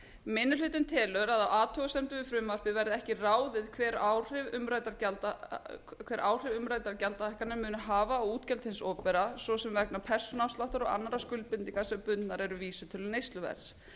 minni hlutinn telur að af athugasemdum við frumvarpið verði ekki ráðið hver áhrif umræddar gjaldahækkanir muni hafa á útgjöld hins opinbera svo sem vegna persónuafsláttar og annarra skuldbindinga sem bundnar eru vísitölu neysluverðs